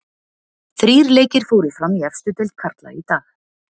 Þrír leikir fóru fram í efstu deild karla í dag.